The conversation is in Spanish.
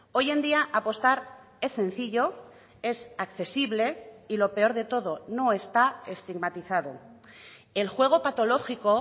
hoy en día apostar es sencillo es accesible y lo peor de todo no está estigmatizado el juego patológico